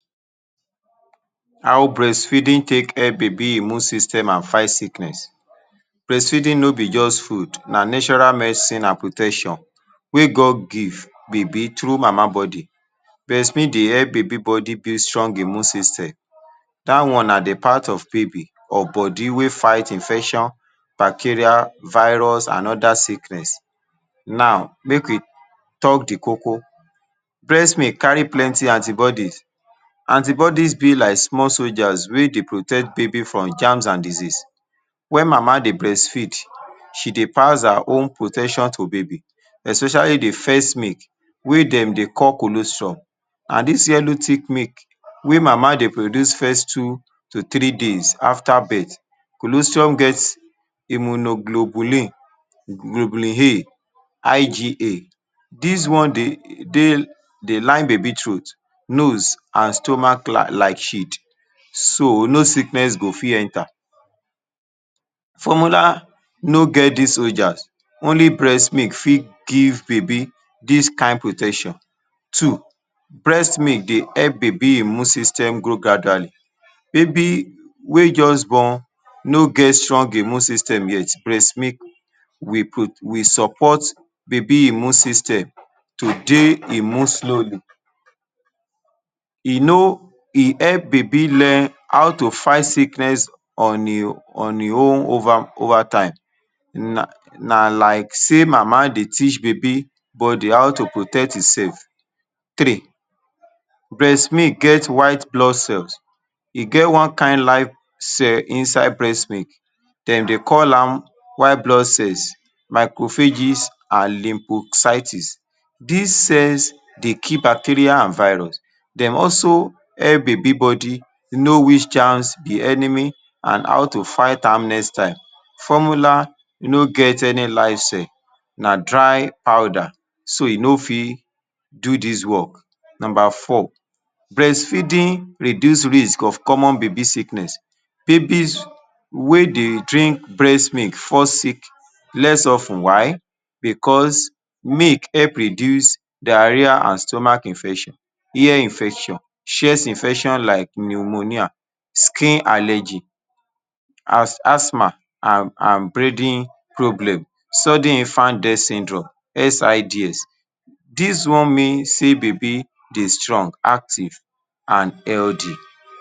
How breastfeeding take help baby immune system and fight sickness breastfeeding no BE just food na natural medicine and protection wey God give baby through mama body breastfeed dey help baby body build strong immune system that one na de part of baby of body wey fight infection bacteria virus and other sickness now make we talk de Koko breast milk carry plenty antibodies antibodies be like small soldiers wey dey protect baby from germs and diseases wen mama dey breastfeed she dey pass her own protection to baby especially de first milk wey dem dey call colosure and this yellow thick milk wey mama dey produce first two to three days after birth colostrums get immunoglobulin globulin IGA this one dey line baby throat nose and stomach like shield so no sickness go fit enter formula no get this soldiers only breast milk fit give baby this kind protection two breast milk dey help baby immune system grow gradually baby wey just born no get strong immune system yet breast milk will prote will support baby immune system to dey immune slowly e no e help baby learn how to fight sickness on him own over overtime na like say mama dey teach baby body how to protect itself three breast milk get white blood cells e get one kind cell inside breast milk dem dey call am white blood cells macrophages and lymphocytes this cells dey kill bacteria and virus dem also help baby body know which chance de enemy and how to fight am next time formula no get any life cell na dry powder so e no fit do this work number four breast feeding reduce risk of common baby sickness babies wey dey drink breast milk fall sick less of ten why because milk helps reduce diarrhoea and stomach infection ear infection chest infection like pneumonia skin allergy as asthma and and breathing problems sudden fan death syndrome SIDS this one mean say baby dey strong active and healthy.